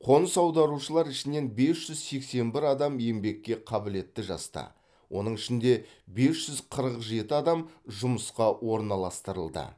қоныс аударушылар ішінен бес жүз сексен бір адам еңбекке қабілетті жаста оның ішінде бес жүз қырық жеті адам жұмысқа орналастырылды